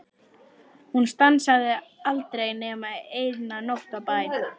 Hún stansaði aldrei nema eina nótt á bæ.